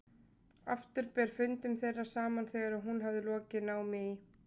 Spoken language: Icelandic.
Aftur ber fundum þeirra saman þegar hún hafði lokið námi í